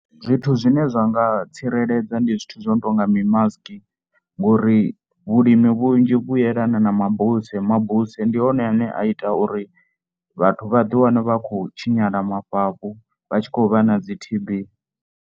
Zwithu zwine zwa nga tsireledza ndi zwithu zwo no tou nga mimasiki ngori vhulimi vhunzhi vhu yelana na mabuse. Mabuse ndi hone ane a ita uri vhathu vha ḓiwane vha kho tshinyala mafhafhu vha tshi khou vha na dzi T_B.